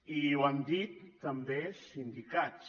i ho han dit també sindicats